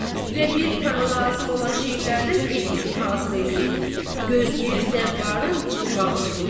Və bir para lazım olan şeylərdən ev üçün hazır eləyib gözləyir zəvvarın çıxmaqlığını.